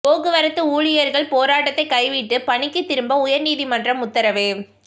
போக்குவரத்து ஊழியர்கள் போராட்டத்தைக் கைவிட்டு பணிக்குத் திரும்ப உயர் நீதிமன்றம் உத்தரவு